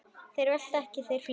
Þeir velta ekki, þeir fljúga.